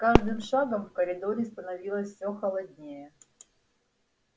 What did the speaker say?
с каждым шагом в коридоре становилось все холоднее